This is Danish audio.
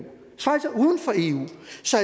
så